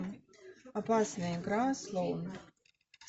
опасная игра слоун